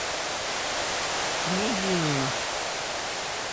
княгинино